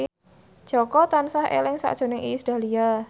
Jaka tansah eling sakjroning Iis Dahlia